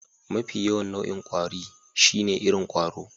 Mafi yawan nau'in kwari shine irin ƙwaro.